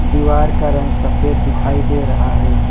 दीवार का रंग सफेद दिखाई दे रहा है।